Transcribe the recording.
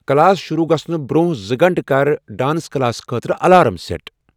class شروٗع گژھنہٕ برٛونٛہہ زٕ گھنٹہٕ کرٕ ڈانس کلاس خٲطرٕ الارم سیٹ